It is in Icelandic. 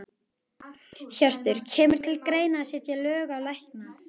Hjörtur: Kemur til greina að setja lög á lækna?